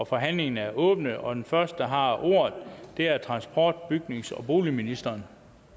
forhandlingen er åbnet og den første der har ordet er transport bygnings og boligministeren